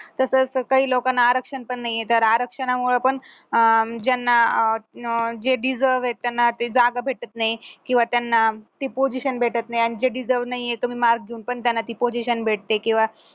तसं तर काही लोकांना आरक्षण पण नाहीये तर आरक्षणामुळ पण अं ज्यांना जे deserve त्यांना ते जागा भेटत नाही किंवा त्यांना ती position भेटत नाही जे deserve येत तुम्ही मागून पण त्यांना ती position भेटते किंवा